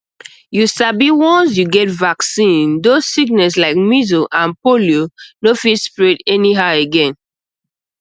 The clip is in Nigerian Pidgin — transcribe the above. you sabi once you get vaccine those sickness like measles and polio no fit spread anyhow again